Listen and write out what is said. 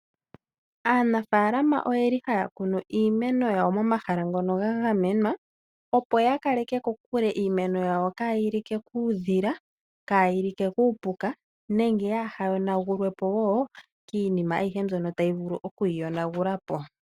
Aanamapya oyeli haya kunu iimeno yawo pomahala ngoka geli ga gamenwa, opo ya kaleke kokule iimeno yawo hayi like kuudhila, kayi like kuupuka nenge hayi yonagulwepo wo kiinima ayihe mbyoka tayi vulu okwiiyonagula po.